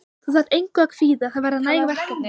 Þú þarft engu að kvíða, það verða næg verkefni.